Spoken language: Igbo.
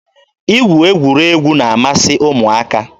Igwu egwuregwu na-amasị ụmụaka.